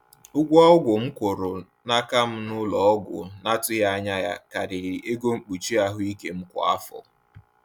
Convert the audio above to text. Ụgwọ ọgwụ m kwụrụ n’aka m n’ụlọọgwụ na-atụghị anya ya karịrị ego mkpuchi ahụike m kwa afọ.